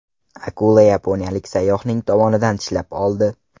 Akula yaponiyalik sayyohning tovonidan tishlab oldi.